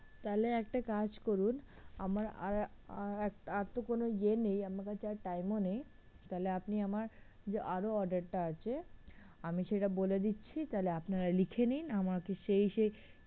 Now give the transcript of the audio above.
তাহলে একটা কাজ করুন আর তো কোনো ইয়ে নেই, আহ আমার কাছে আর time ও নেই, তাহলে আপনি আমার যে আরও order টা আছে আমি সেটা বলে দিচ্ছি তাহলে আপনারা লিখে নিন আমাকে সেই সেই